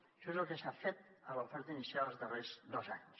això és el que s’ha fet a l’oferta inicial els darrers dos anys